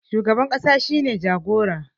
shugaban kasa shi ne jagoran